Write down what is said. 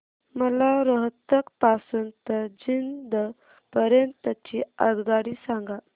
मला रोहतक पासून तर जिंद पर्यंत ची आगगाडी सांगा